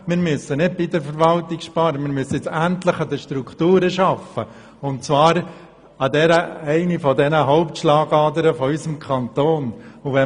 Wir müssen nicht bei der Verwaltung sparen, sondern endlich an den Strukturen arbeiten, und zwar an einer der Hauptschlagadern unseres Kantons.